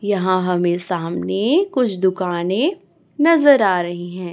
यहां हमें सामने कुछ दुकानें नजर आ रही हैं।